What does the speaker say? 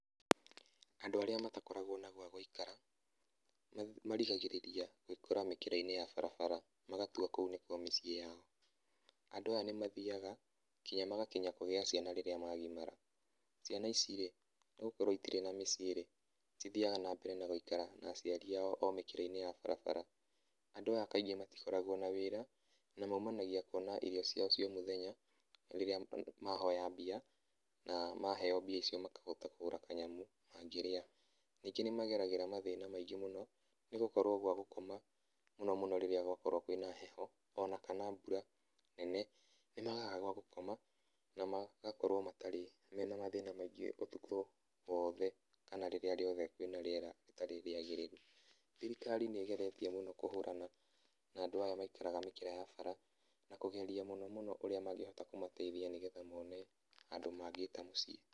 Andũ arĩa matakoragwo na gwa gũikara, marigagĩrĩria gwĩkora mĩkĩra-inĩ ya barabara, magatua kũu nĩkuo miciĩ yao. Andũ aya nĩmathiaga kinya magakinya kũgĩa ciana rĩrĩa magimara, ciana ici-rĩ, nĩgũkorwo itirĩ na mĩciĩ-rĩ, cithiaga na mbere na gũikara na aciari ao o mĩkĩra-inĩ ya barabara. Andũ aya kaingĩ matikoragwo na wĩra, na maumanagia kuona irio ciao cia o mũthenya rĩrĩa mahoya mbia, na maheo mbia icio makahota kũgũra kanyamũ mangĩrĩa. Ningĩ nimageragĩra mathĩna maingĩ mũno, nĩgũkorwo gwa gũkoma mũno mũno rĩrĩa gwakorwo kwĩ na heho, ona kana mbura nene, nĩmagaga gwa gũkoma na magakorwo matarĩ, mena mathĩna maingĩ ũtukũ wothe, kana rĩrĩa riothe kwĩ na rĩera rĩtarĩ rĩagĩrĩru. Thirikari nĩgeretie mũno kũhũrana na andũ aya maikaraga mĩkĩra ya bara, na kũgeria mũno mũno ũrĩa mangĩhota kũmateithia, nĩgetha mone handũ mangĩta mũciĩ.